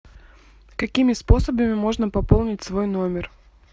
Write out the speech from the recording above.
какими способами можно пополнить свой номер